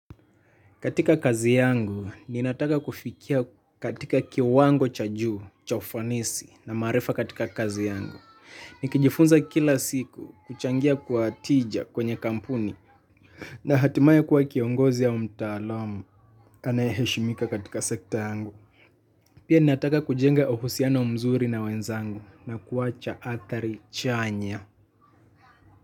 Katika kazi yangu, ninataka kufikia katika kiwango cha juu, cha ufanisi na maarifa katika kazi yangu. Nikijifunza kila siku kuchangia kwa tija kwenye kampuni na hatimaye kuwakiongozi au mtaalamu anayeshimika katika sekta yangu. Pia ninataka kujenga uhusiano mzuri na wenzangu na kuwacha athari chanya.